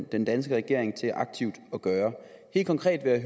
den danske regering til aktivt at gøre helt konkret vil jeg